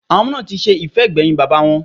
Àwọn ọmọ náà ti ṣe ìfẹ́ ìgbẹ̀yìn bàbáa wọn.